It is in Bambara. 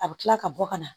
A bɛ tila ka bɔ ka na